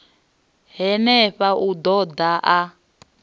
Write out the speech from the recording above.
henefha u ḓo ḓa a